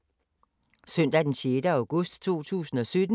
Søndag d. 6. august 2017